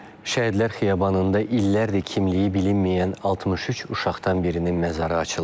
Şəhidlər xiyabanında illərdir kimliyi bilinməyən 63 uşaqdan birinin məzarı açılıb.